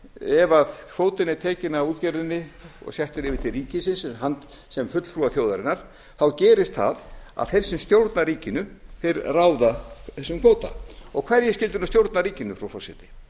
ef kvótinn er tekinn af útgerðinni og settur yfir til ríkisins sem fulltrúar þjóðarinnar þá gerist það að þeir sem stjórna ríkinu ráða þessum kvóta og hverjir skyldu nú stjórna ríkinu frú forseti